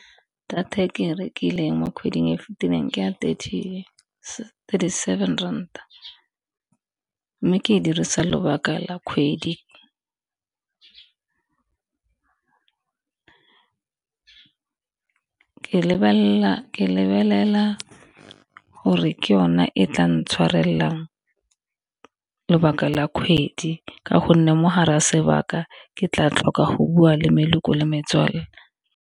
Data e ke e rekileng mo kgweding e fitileng ke ya thirty seven ranta, mme ke dirisa lobaka la kgwedi. Ke lebelela gore ke yone e tla ntshwarelelang lebaka la kgwedi, ka gonne mogare ya sebaka ke tla tlhoka go bua le le metswalle.